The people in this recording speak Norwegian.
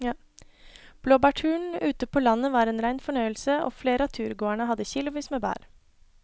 Blåbærturen ute på landet var en rein fornøyelse og flere av turgåerene hadde kilosvis med bær.